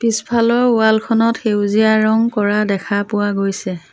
পিছফালৰ ৱাল খনত সেউজীয়া ৰং কৰা দেখা পোৱা গৈছে।